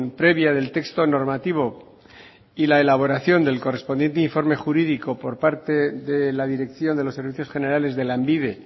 previa del texto normativo y la elaboración del correspondiente informe jurídico por parte de la dirección de los servicios generales de lanbide